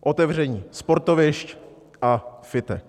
otevření sportovišť a fitek.